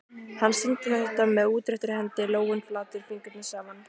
Hann sýndi þetta með útréttri hendi, lófinn flatur, fingurnir saman.